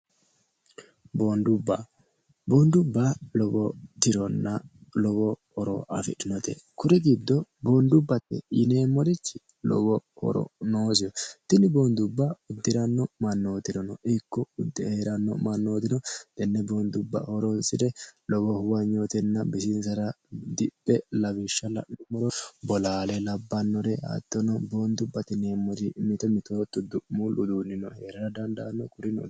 boondubba boondubba lowo tironna lowo horo afidhinote kuri giddo boondubbate yineemmorichi lowo horo noosiho tinni boondubba uddi'ranno mannootirano ikko uddire hee'ranno mannootino tenne boondubba horoonsi're lowo huwanyootenna bisiinsara diphe lawishsha la'numoro bolaale labbannore hattono boondubbate yineemmori mito mitootto du'muul uduunnino hee'rra dandaanno kurino